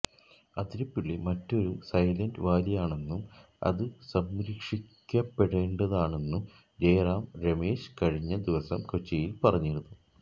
അതിരിപ്പിള്ളി മറ്റൊരു സൈലന്റ് വാലിയാണെന്നും അത് സംരക്ഷിയ്ക്കപ്പെടേണ്ടതാണെന്നും ജയറാം രമേശ് കഴിഞ്ഞ ദിവസം കൊച്ചിയില് പറഞ്ഞിരുന്നു